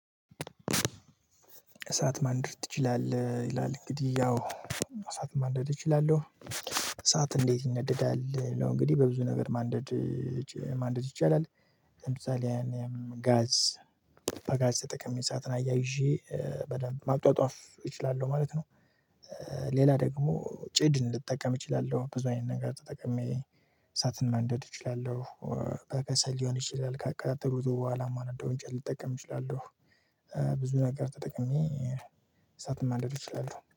እሳት ማንደድ ትችላለህ? ይላል እንግዲህ ያው እሳት ማንደድ እችላለሁ። እሳት እንዴት ይነደዳል እንግዲህ በብዙ ነገር ማንደድ ማንደድ ይቻላል። ለምሳሌ ያሀል ጋዝ በጋዝ ተጠቅሜ እሳትን አያይዤ በደንብ ማጧጧፍ እችላለሁ ማለት ነው። ሌላ ደግሞ ጭድ እንድትጠቀም እችላለሁ ብዙ አይነት ነገር ተጠቅሜ እሳትን ማንደድ እችላለሁ። በከሰል ሊሆን ይችላል ከአቀጣጠልኩ በኋላ ማንደው እንጨት ልጠቀም እችላለሁ። ብዙ ነገር ተጠቅሜ እሳትም ማንደድ እችላለሁ